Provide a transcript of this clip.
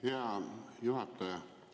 Hea juhataja!